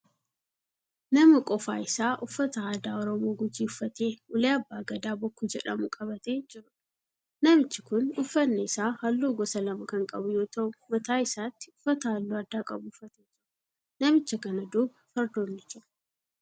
Nama qofaa isaa uffata aadaa Oromoo Gujii uffatee ulee abbaa Gadaa bokkuu jedhamu qabatee jiruudha. Namichi kun uffanni isaa halluu gosa lama kan qabu yoo ta'u mataa isaatti uffata halluu addaa qabu uffatee jira. Namicha kana duuba fardoonni jiru.